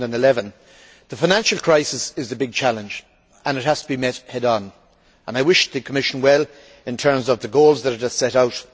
2011. The financial crisis is the big challenge, and it has to be met head on. I wish the Commission well in terms of the goals that it has set out.